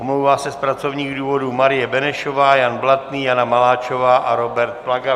Omlouvá se z pracovních důvodů Marie Benešová, Jan Blatný, Jana Maláčová a Robert Plaga.